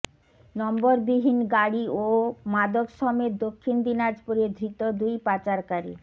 নম্বরবিহীন গাড়ি ও মাদক সমেত দক্ষিণ দিনাজপুরে ধৃত দুই পাচারকারী